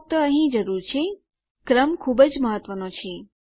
તો ફક્ત અહીં જરૂર છે ક્રમ ખુબ જ મહત્વનો છે